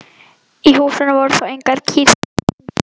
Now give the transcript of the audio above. Í húsinu voru þó engar kýr þessa stundina.